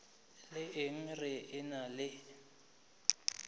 la eng re ena le